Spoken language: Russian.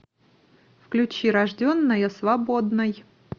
включи рожденная свободной